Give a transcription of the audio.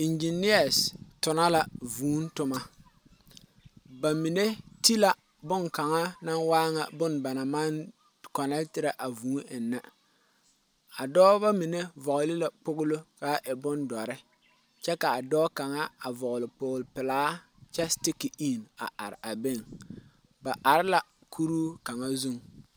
Engineers tono la vuu toma ba mine te la bon kaŋa na waa ŋa bon ba na maŋ connectiri a vuu eŋne a dɔba mine vɔge la kpogilo ka a e bon dɔre kyɛ kaa a dɔɔ kaŋa vɔgile kpol pɛlaa kyɛ stick in a are a beŋ, ba are la kuur kaŋa zuŋ.